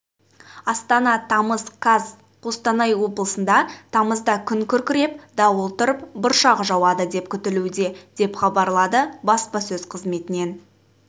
астана тамыз қаз қостанай облысында тамызда күн күркіреп дауыл тұрып бұршақ жауады деп күтілуде деп хабарлады баспасөз қызметінен